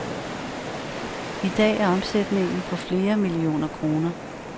I dag er omsætningen på flere millioner kroner.